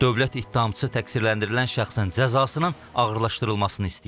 Dövlət ittihamçısı təqsirləndirilən şəxsən cəzasının ağırlaşdırılmasını istəyib.